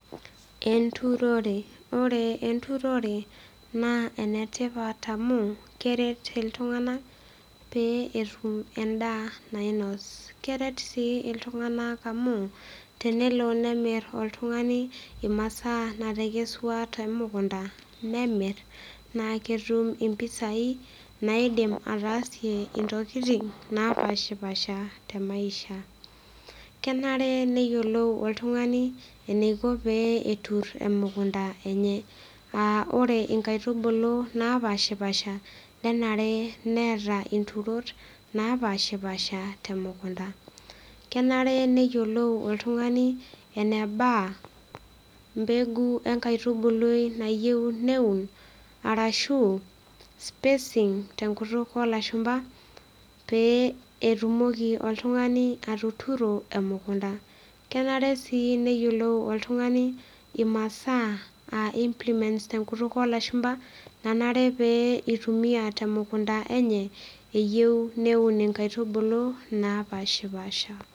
Enturorore. Oore enturore naa enetipat amuu, keret iltung'anak peyie etum en'daa nainos. Keret sii iltung'anak amuu tenelo nemir oltung'ani imasaa natekesua temukunda, nemir, naa ketum impisai naidim ataasie intokitin napashipasha te maisha. Kenare neyiolou oltung'ani eneiko peyie etur emukunda eenye.ah oore inkaitubulu napashipaasha nenare neeta inturot napaashipaasha temukunda. Kenare neyiolou oltung'ani eneba, mbegu enkaitubului nayieu neun, arashu spacing tenkutuk olashumba, pee etumoki oltung'ani atuturo emukunda. Kenare sii neyiolou oltung'ani imasaa aah implemnts tenkutuk olashumba, nanare neitumia temukunda eenye, eyieu neun inkaitubulu, napaashipaasha.